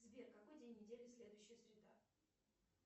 сбер какой день недели следующая среда